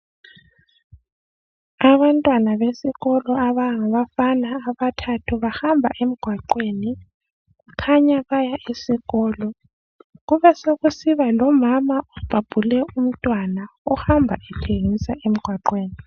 Abafana abesikolo abathathu bahamba emgwaqeni kukhanya baya esikolo kube sokusiba lomama obhabhule umntwana ohamba ethengisa emgwaqeni